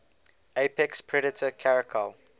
apex predator caracal